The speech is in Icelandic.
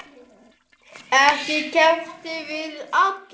Ekki keppt við alla?